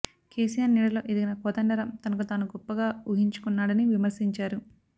కేసీఆర్ నీడలో ఎదిగిన కోదండరాం తనకు తాను గొప్పగా ఉహించుకున్నాడని విమర్శించారు